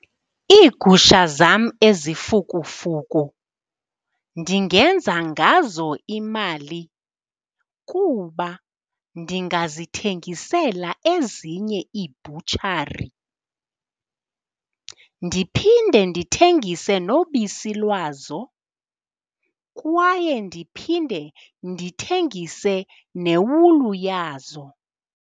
Iigusha zam ezifukufuku ndingenza ngazo imali kuba ndingazithengisela ezinye iibhutshari, ndiphinde ndithengise nobisi lwazo, kwaye ndiphinde ndithengise newulu yazo.